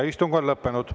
Istung on lõppenud.